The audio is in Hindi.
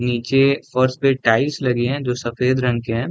नीचे फर्श पे टाइल्स लगे है जो सफेद रंग के है।